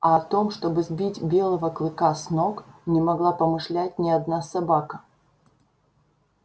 а о том чтобы сбить белого клыка с ног не могла помышлять ни одна собака